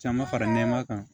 Caman fara nɛma kan